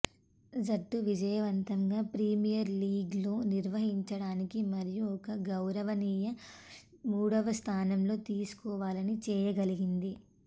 జట్టు విజయవంతంగా ప్రీమియర్ లీగ్లో నిర్వహించడానికి మరియు ఒక గౌరవనీయ మూడవ స్థానంలో తీసుకోవాలని చేయగలిగింది